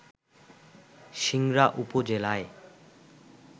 সিংড়া উপজেলায়